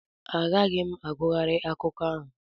Agaghị m agughari akụkọ ahụ.